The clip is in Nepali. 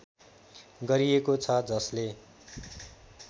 गरिएको छ जसले